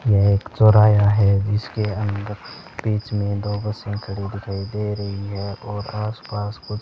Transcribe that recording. ये एक चौराहा जिसके है इसके अंदर बीच में दो बसें खड़ी दिखाई दे रही है और आसपास कुछ --